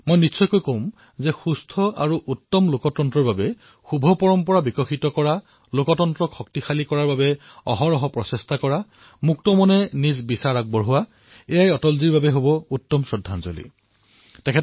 মই নিশ্চিতভাৱে কম গণতন্ত্ৰৰ বাবে উত্তম গণতন্ত্ৰৰ বাবে শুভ পৰম্পৰা বিকশিত কৰা গণতন্ত্ৰ শক্তিশালী কৰাৰ বাবে অহৰহ প্ৰয়াস কৰা আলোচনাসমূহক মুক্ত মনে আগবঢ়াই লৈ যোৱা এয়াও অটলজীৰ প্ৰতি এক উত্তম শ্ৰদ্ধাঞ্জলি হব